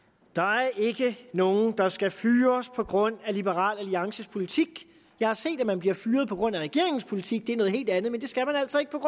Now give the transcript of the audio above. der er ikke nogen der skal fyres på grund af liberal alliances politik jeg har set at man bliver fyret på grund af regeringens politik og det er noget helt andet men det skal man altså ikke på